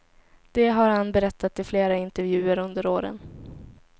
Det har han berättat i flera intervjuer under åren.